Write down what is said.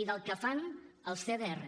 i del que fan els cdrs